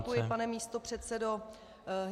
Děkuji, pane místopředsedo.